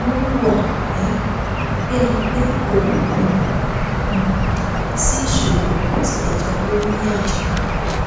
wọn hùwà um bí ẹni pé kò um um sí ìṣòro bó tilẹ jẹ pé wọn yà jìnnà